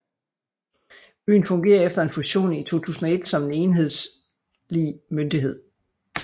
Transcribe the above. Byen fungerer efter en fusion i 2001 som en enhedslig myndighed